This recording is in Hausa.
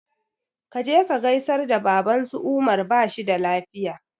Ka je ka gaisar da baban su umar bashi da lafiya